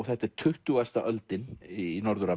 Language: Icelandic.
þetta er tuttugasta öldin í Norður